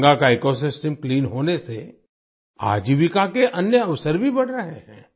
गंगा का ecosystem clean होने से आजीविका के अन्य अवसर भी बढ़ रहे हैं